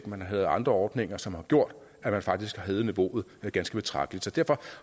man har lavet andre ordninger som har gjort at man faktisk har hævet niveauet ganske betragteligt så derfor